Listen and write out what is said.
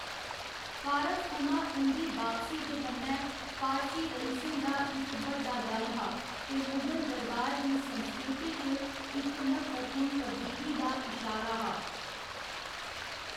फारस थमां उं'दी बापसी दे कन्नै फारसी रइसें दा इक बड्डा दल हा ते मुगल दरबार दी संस्कृति च इक म्हत्तवपूर्ण तब्दीली दा इशारा हा।